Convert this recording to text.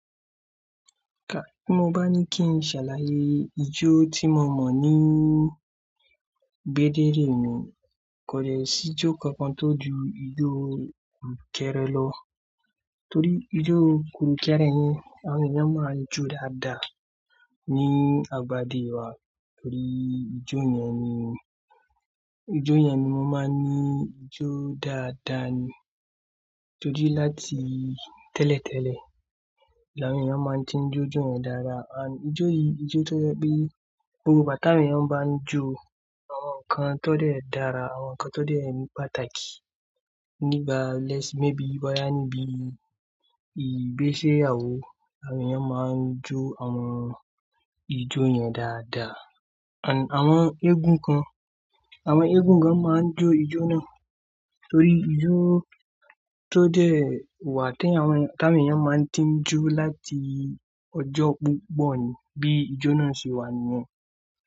Bí mo bá ní kí n ṣàlàyé ijó tí mo mọ̀ ní ń gbédéré mi kò jẹ́ sí ijó kankan tó ju ijó kurùkèrè lọ. Torí ijó kurùkèrè yẹn, àwọn èèyàn máa ń jó dáadáa ní abádé wa. Torí ijó yẹn ni, ijó yẹn ni mo máa ń ní ijó dáadáa ni. Tori láti tẹ́lẹ̀tẹ́lẹ̀, l'àwọn èèyàn máa ń tí ń jó ijó yẹn dáadáa. Àńd, ijó yìí, ijó tó jẹ́ pé gbogbo gbàà t'awọn eeyan bá ń jó l'àwọn nǹkan tó dẹ́ dara, l'àwọn nǹkan tó dẹ́ n pàtàkì fe se-yàwò, àwọn èèyàn máa ń jó àwọn ijó yẹn dáadáa. Àń, àwọn eégún kan, àwọn eégún kan máa ń jó ijó náà. Torí ijó tó dẹ́ wà tí àwọn èèyàn máa ń tí ń jó láti ọjọ́ púpọ̀ ni bí ijó náà ṣe wà níyẹn.